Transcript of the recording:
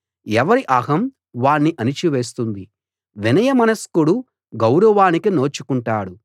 ఎవరి అహం వాణ్ణి అణచి వేస్తుంది వినయమనస్కుడు గౌరవానికి నోచుకుంటాడు